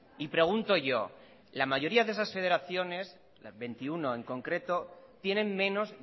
y pregunto yo la mayoría de esas federaciones veintiuno en concreto tienen menos